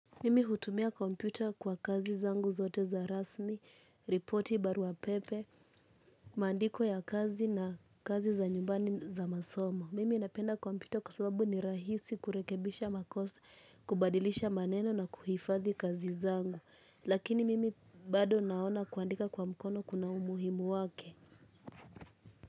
Mimi hutumia kompyuta kwa kazi zangu zote za rasmi, ripoti barua pepe, maandiko ya kazi na kazi za nyumbani za masomo. Mimi napenda kompyuta kwa sababu ni rahisi kurekebisha makosa, kubadilisha maneno na kuhifadhi kazi zangu. Lakini mimi bado naona kuandika kwa mkono kuna umuhimu wake.